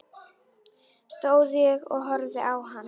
Stóð og horfði á hana.